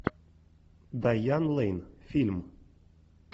дайан лейн фильм